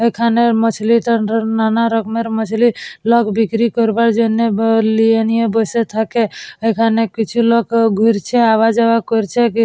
এখানে মাচলী নান রকমের মাছলি। লোক বিক্রি করাবার জন্য লোক ব লিয়ে নিয়ে বসে থাকে। এখানে কিছু লোক ঘুরছে আওয়া যাওয়া করছে। কি--